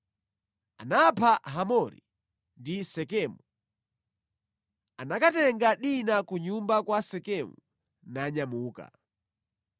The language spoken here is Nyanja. Anapha Hamori ndi Sekemu. Anakatenga Dina ku nyumba kwa Sekemu nanyamuka.